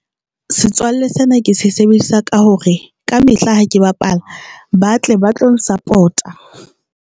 Setswalle sena ke sebedisa ka hore ka mehla ha ke bapala ba tle ba tlo support-a.